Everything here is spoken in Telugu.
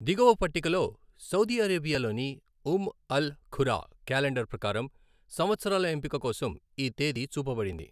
దిగువ పట్టికలో సౌదీ అరేబియాలోని ఉమ్ అల్ ఖురా క్యాలెండర్ ప్రకారం, సంవత్సరాల ఎంపిక కోసం ఈ తేదీ చూపబడింది.